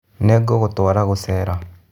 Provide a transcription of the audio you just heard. Nĩngũgũtwara gũcera.